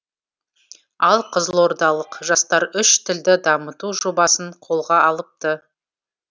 ал қызылордалық жастар үш тілді дамыту жобасын қолға алыпты